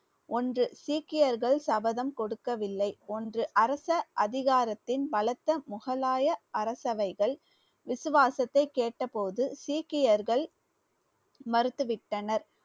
ஒன்று சீக்கியர்கள் சபதம் கொடுக்கவில்லை ஒன்று அரச அதிகாரத்தின் முகலாய அரசவைகள் விசுவாசத்தை கேட்டபோது சீக்கியர்கள் மறுத்துவிட்டனர்.